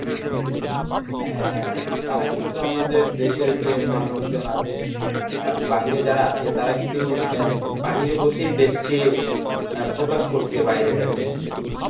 হ্যাঁ হ্যাঁ তারা কিন্তু আমাদের দেশের যে মানুষজন আছে আহ বাহিরে যারা আছে তারা কিন্তু বাহিরে বসেই দেশকে আহ প্রকাশ করেছে বাহিরের কাছে